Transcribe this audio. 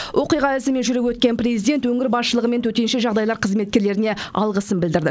оқиға ізімен жүріп өткен президент өңір басшылығы мен төтенше жағдайлар қызметкерлеріне алғысын білдірді